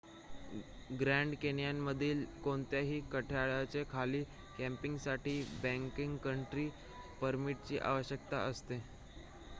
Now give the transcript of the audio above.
grand कॅन्यनमधील कोणत्याही कठड्याच्या खाली कॅम्पिंगसाठी बॅककंट्री परमिटची आवश्यकता असते